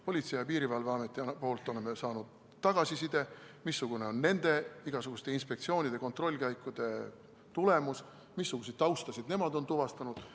Politsei- ja Piirivalveametilt oleme saanud tagasiside, missugune on nende inspektsioonide ja kontrollkäikude tulemus, missuguseid taustu on nemad tuvastanud.